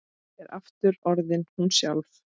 Er aftur orðin hún sjálf.